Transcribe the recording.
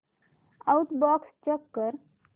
outbox check कर